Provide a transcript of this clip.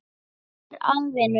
Hvað er að, vinur minn?